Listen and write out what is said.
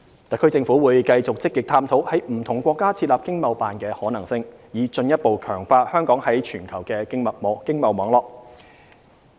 特區政府會繼續積極探討在不同國家設立經貿辦的可行性，以進一步強化香港在全球的經貿網絡。